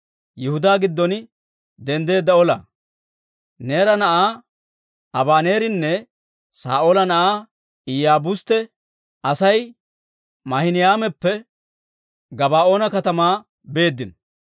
Neera na'aa Abaneerinne Saa'oola na'aa Iyaabustte Asay Maahinaymappe Gabaa'oona katamaa beeddino.